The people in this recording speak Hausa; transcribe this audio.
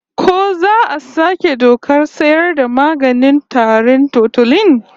Ko za a saki dokar sayar da maganin tarin Tutolin?